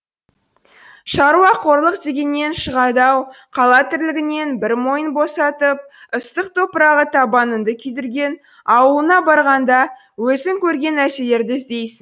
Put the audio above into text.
шаруақорлық дегеннен шығады ау қала тірлігінен бір мойын босатып ыстық топырағы табаныңды күйдірген ауылыңа барғанда өзің көрген нәрселерді іздейсің